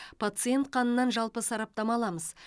пациент қанынан жалпы сараптама аламыз